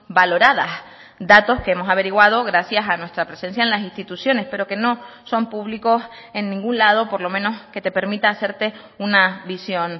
valoradas datos que hemos averiguado gracias a nuestra presencia en las instituciones pero que no son públicos en ningún lado por lo menos que te permita hacerte una visión